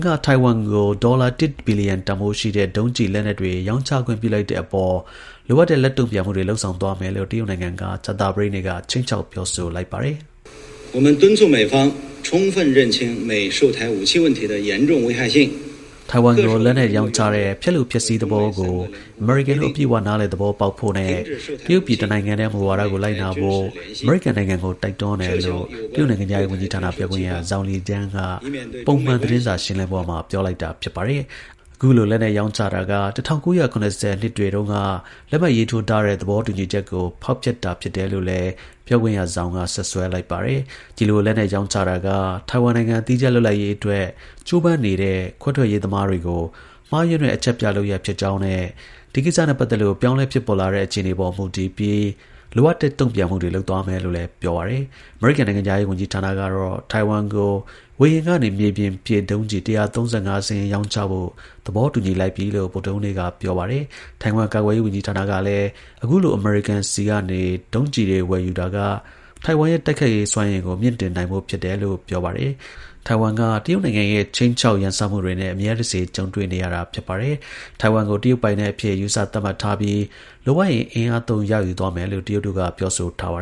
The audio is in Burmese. က ထိုင်ဝမ်ကို ဒေါ်လာ ၁ ဘီလီယံတန်ဖိုးရှိတဲ့ ဒုံးကျည်လက်နက်တွေ ရောင်းချခွင့်ပြုလိုက်တဲ့အပေါ် လိုအပ်တဲ့ လက်တုံ့ပြန်မှုတွေကို လုပ်ဆောင်သွားမယ်လို့ တရုတ်နိုင်ငံက ကြာသပတေးနေ့က ခြိမ်းခြောက်ပြောဆိုလိုက်ပါတယ်။ ထိုင်ဝမ်ကို လက်နက်ရောင်းချတဲ့ ဖျက်လိုဖျက်ဆီး သဘောကို အမေရိကန်တို့ အပြည့်အဝ နားလည် သဘောပေါက်ဖို့နဲ့တရုတ်ပြည် တစ်နိုင်ငံတည်း မူဝါဒကို လိုက်နာဖို့ အမေရိကန်နိုင်ငံကို တိုက်တွန်းတယ်လို့ တရုတ် နိုင်ငံခြားရေးဝန်ကြီးဌာန ပြောခွင့်ရ Zhao Lijian က ပုံမှန်သတင်းစာရှင်းလင်းပွဲမှာ ပြောလိုက်တာပါ။ အခုလို လက်နက်ရောင်းချတာက ၁၉၇၀ နှစ်တွေတုန်းက လက်မှတ်ရေးထိုးထားတဲ့ သဘောတူညီချက်ကို ဖောက်ဖျက်တာလို့လည်း ပြောခွင့်ရ Zhao က စွပ်စွဲလိုက်ပါတယ်။ ဒီလို လက်နက်ရောင်းချတာက ထိုင်ဝမ်နိုင်ငံ သီးခြားလွတ်လပ်ရေးအတွက် ကြိုးပမ်းနေတဲ့ ခွဲထွက်ရေးသမားတွေကို မှားယွင်းတဲ့ အချက်ပြ လုပ်ရပ်ဖြစ်ကြောင်းနဲ့ ဒီကိစ္စနဲ့ ပတ်သက်လို့ ပြောင်းလဲဖြစ်ပေါ်လာတဲ့ အခြေအနေတွေပေါ်မူတည်ပြီး လိုအပ်တဲ့ တုံ့ပြန်မှုတွေလုပ်သွားမယ်လို့လည်း ပြောပါတယ်။ အမေရိကန် နိုင်ငံခြားရေးဌာနကတော့ ထိုင်ဝမ်ကို ဝေဟင်ကနေ မြေပြင်ပစ် ဒုံးကျည် ၁၃၅ စင်းရောင်းချဖို့ သဘောတူညီလိုက် ပြီလို့ ဗုဒ္ဓဟူးနေ့က ပြောပါတယ်။ ထိုင်ဝမ် ကာကွယ်ရေးဝန်ကြီးဌာန ကလည်းအခုလို အမေရိကန်ဆီကနေ ဒီလို ဒုံးကျည်တွေဝယ်ယူတာက ထိုင်ဝမ်ရဲ့ တိုက်ခိုက်ရေးစွမ်းရည်ကို မြှင့်တင်တာဖြစ်တယ်လို့ ပြောပါတယ်။ Taiwan က တရုတ်နိုင်ငံရဲ့ ခြိမ်းခြောက် ကျုးကျော်ရန်စမှုတွေနဲ့ အမြဲတစေ ကြုံတွေ့နေရဝာာပါ။ Taiwan ကို တရုတ်ပိုင်နက် အဖြစ် ယူဆသတ်မှတ်ထားပြီး လိုအပ်ရင် အင်အားသုံး ရယူသွားမယ်လို့ ပြောဆိုထားတာပါ